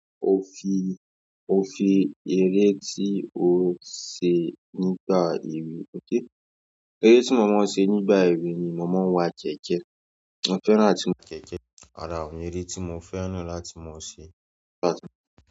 Ó fi, ó fi eré tí o ṣe nígbà èwe, ok! Eré tí mo máa ń ṣe nígbà èwe ni mo máa ń wà jẹ́jẹ́. Mo fẹ́ràn àti wà jẹ́jẹ́. Rárá, ò eré tí mo fẹ́ràn láti mo ṣe.